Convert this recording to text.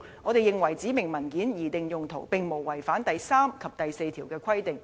我們認為指明文件的擬定用途並無違反第3及第4條的規定。